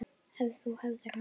Ef þú hefðir hann ekki.